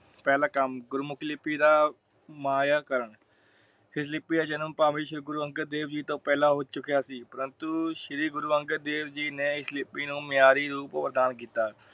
ਪਹਲਾ ਕਮ ਗੁਰਮੁਖੀ ਲਿਪੀ ਦਾ ਮਾਇਆ ਕਰਨ । ਫਿਰ ਲਿਪੀ ਦਾ ਜਨਮ ਭਾਮੇ ਸ਼੍ਰੀ ਗੁਰੂ ਅੰਗਦ ਦੇਵ ਜੀ ਤੋਂ ਪਹਿਲਾ ਹੋ ਚੁਕਿਆ ਸੀ। ਪਰੰਤੂ ਸ਼੍ਰੀ ਗੁਰੂ ਅੰਗਦ ਦੇਵ ਜੀ ਨੇ ਇਸ ਲਿਪੀ ਨੂੰ ਮਿਆਰੀ ਰੂਪ ਵਰਧਾਨ ਕੀਤਾ ।